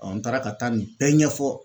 n taara ka taa nin bɛɛ ɲɛfɔ.